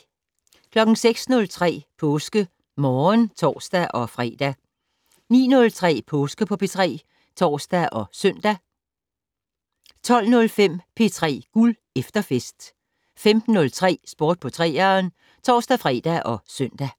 06:03: PåskeMorgen (tor-fre) 09:03: Påske på P3 (tor og søn) 12:05: P3 Guld - efterfest 15:03: Sport på 3'eren (tor-fre og søn)